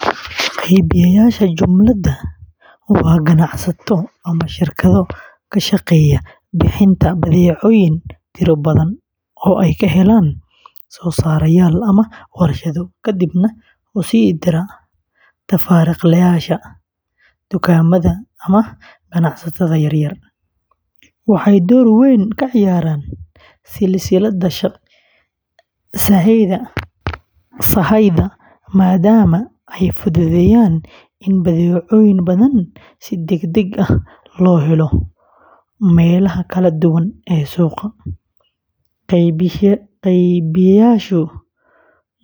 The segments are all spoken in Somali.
Qeybiyeyaasha jumlada waa ganacsato ama shirkado ka shaqeeya bixinta badeecooyin tiro badan oo ay ka helaan soosaarayaal ama warshado, kadibna u sii dira tafaariiqleyaasha, dukaamada, ama ganacsatada yar yar. Waxay door weyn ka ciyaaraan silsiladda sahayda maadaama ay fududeeyaan in badeecooyin badan si degdeg ah loo helo meelaha kala duwan ee suuqa. Qeybiyeyaasha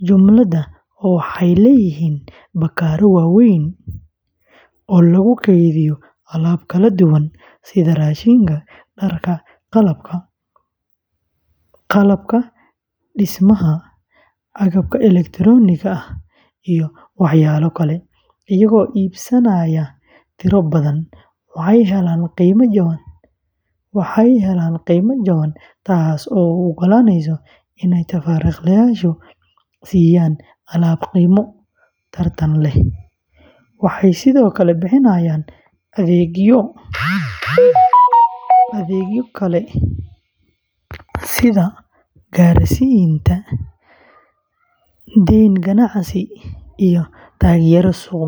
jumlada waxay leeyihiin bakhaarro waaweyn oo lagu kaydiyo alaab kala duwan sida raashinka, dharka, qalabka dhismaha, agabka elektarooniga ah, iyo waxyaabo kale. Iyagoo iibsanaya tiro badan, waxay helaan qiime jaban, taas oo u ogolaanaysa inay tafaariiqleyaasha siiyaan alaab qiimo tartan leh. Waxay sidoo kale bixiyaan adeegyo kale sida gaarsiinta, dayn ganacsi, iyo taageero suuq-geyn.